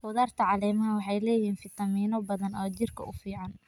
Khudradda caleemaha waxay leeyihiin fiitamiino badan oo jirka u fiican.